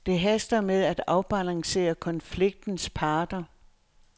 Det haster med at afbalancere konfliktens parter.